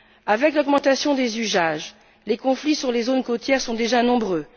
Avec l'augmentation des usages, les conflits sur les zones côtières sont déjà nombreux.